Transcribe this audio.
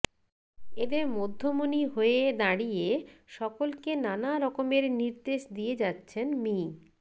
এদের মধ্যমণি হয়ে দাঁড়িয়ে সকলকে নানা রকমের নির্দেশ দিয়ে যাচ্ছেন মি